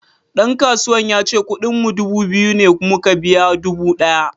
Dan kasuwan yace kudin mu dubu biyu ne muka biya dubu daya.